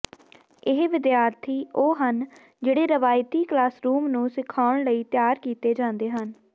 ਇਹ ਵਿਦਿਆਰਥੀ ਉਹ ਹਨ ਜਿਹੜੇ ਰਵਾਇਤੀ ਕਲਾਸਰੂਮ ਨੂੰ ਸਿਖਾਉਣ ਲਈ ਤਿਆਰ ਕੀਤੇ ਜਾਂਦੇ ਹਨ